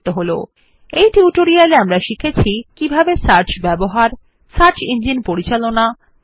in this tutorial we will learn how to use search manage search engineউসে the find barউসে auto complete in address bar